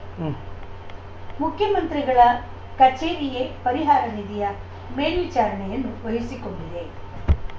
ಉಂ ಮುಖ್ಯಮಂತ್ರಿಗಳ ಕಚೇರಿಯೇ ಪರಿಹಾರ ನಿಧಿಯ ಮೇಲ್ವಿಚಾರಣೆಯನ್ನು ವಹಿಸಿಕೊಂಡಿದೆ